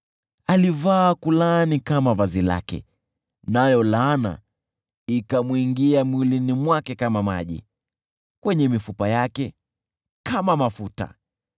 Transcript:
Alivaa kulaani kama vazi lake, nayo laana ikamwingia mwilini mwake kama maji, kwenye mifupa yake kama mafuta.